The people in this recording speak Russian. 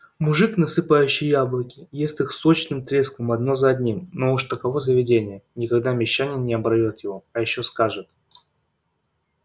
мужик насыпающий яблоки ест их сочным треском одно за одним но уж таково заведение никогда мещанин не оборвёт его а ещё скажет